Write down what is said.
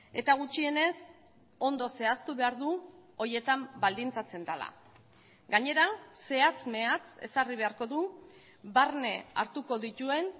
eta gutxienez ondo zehaztu behar du horietan baldintzatzen dela gainera zehatz mehatz ezarri beharko du barne hartuko dituen